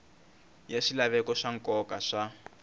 ya swilaveko swa nkoka swa